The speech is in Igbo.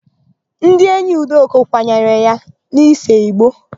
Ndị enyi Udoka kwanyere ya n'isee ìgbó.